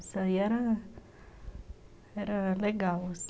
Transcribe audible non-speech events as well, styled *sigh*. Isso aí era era legal. *unintelligible*